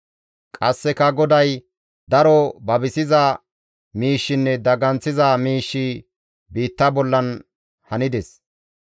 Qasseka GODAY, «Daro babisiza miishshinne daganththiza miishshi biitta bollan hanides.